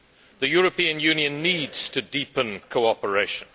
The European Union needs to deepen cooperation.